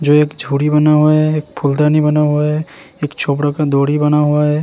जो एक छोरि बना हुआ है एक फुलदणी बना हुआ है एक छोबराका दोरी बना हुआ है।